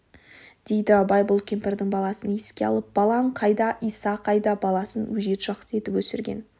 дейді абай бұл кемпірдің баласын еске алып балаң қайда иса қайда баласын өжет жақсы етіп өсірген